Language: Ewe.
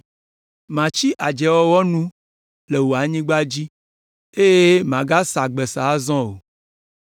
Matsi adzewɔwɔ nu le wò anyigba dzi eye màgasa gbesa azɔ o.